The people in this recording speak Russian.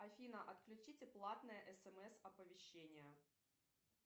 афина отключите платные смс оповещения